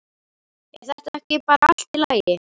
Er þetta ekki bara allt í lagi?